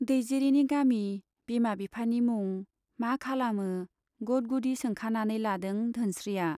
दैजिरिनि गामि, बिमा बिफानि मुं, मा खालामो गद गुदि सोंखानानै लादों धोनस्रीया।